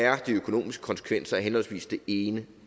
de økonomiske konsekvenser er af henholdsvis det ene